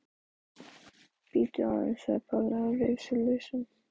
Bíddu aðeins sagði Palli og reif sig lausan.